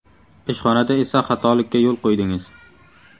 Ishxonada esa xatolikka yo‘l qo‘ydingiz.